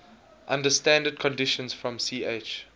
under standard conditions from ch